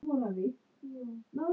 Það hræðir mig smá.